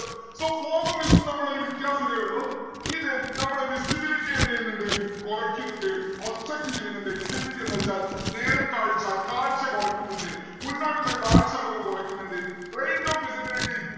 so fog ഉം mist ഉം തമ്മിലുള്ള വ്യത്യാസം ഇതേ ഉള്ളു. ഇത് നമ്മടെ visibility യെ എന്തെയ്യനിണ്ട്‌ കൊറക്കുന്നുണ്ട് obstruct ചെയ്യുന്നുണ്ട് visibility എന്താ വെച്ചാൽ നേർ കാഴ്ച കാഴ്ച കൊറക്കുന്നിണ്ട് മുന്നോട്ടുള്ള കാഴ്ച നമ്മുക്ക് കൊറക്കുന്നിണ്ട range of visibility